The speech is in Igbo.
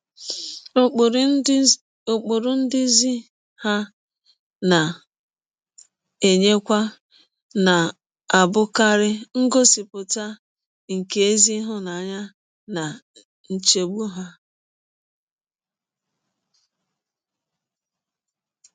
Ụkpụrụ ndụzi ha na - enyekwa na - abụkarị ngọsipụta nke ezi ịhụnanya na nchegbụ ha.